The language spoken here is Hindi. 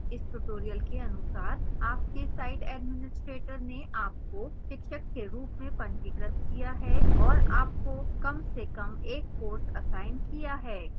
इस tutorial के अनुसार आपके site administrator ने आपको शिक्षक के रूप में पंजीकृत किया है और आपको कम से कम एक कोर्स असाइन किया है